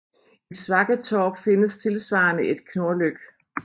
I Svakketorp findes tilsvarende et Knorlyk